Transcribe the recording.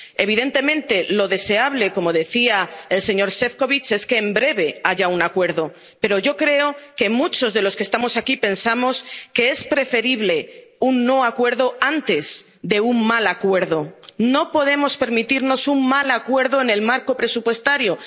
Evidentemente, lo deseable, como decía el señor Šefčovič, es que en breve haya un acuerdo. Pero yo creo que muchos de los que estamos aquí pensamos que es preferible un no acuerdo antes de un mal acuerdo. No podemos permitirnos un mal acuerdo en el marco presupuestario.